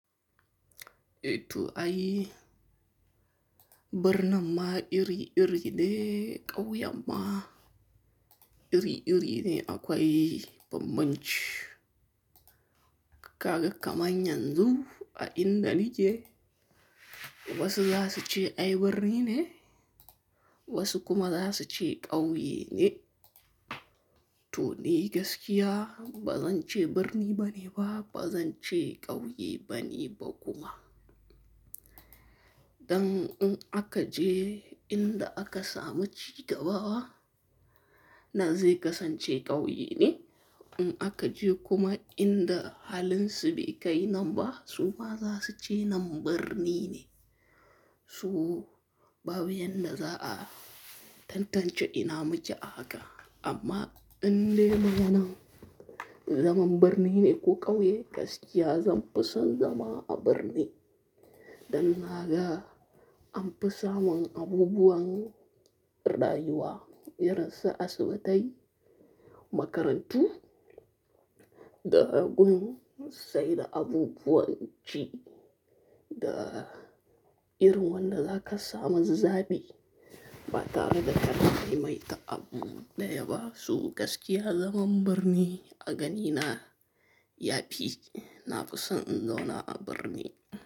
Eh to ay birnin ma iri iri ne ƙauyen ma iri iri ne akwai bambamci. Kaga kaman yanzun a inda nike wasu za su ce ai birni ne, wasu kuma za su ce ƙauye ne. To dai gaskiya bazan ce birni bane ba bazan ce kauye bane ba kuma dan in aka je inda aka samu ci gaba, nan zai kasance ƙauye ne. In aka je kuma inda halin su bai kai nan ba, su ma za su ce nan birni ne. To babu yanda za a tantance ina muke a haka. Amma indai maganan zaman birni ne ko ƙauye gaskiya zan fi son zama a birni. Dan naga an fi samun abubuwan rayuwa irin su asibitai, makarantu da gun saida abubuwan ci da irin wanda zaka samu zabi ba tare da ka kai mai ta abu ɗaya ba. Su gaskiya zaman birni a ganina ya fi, na fi son in zauna a birni.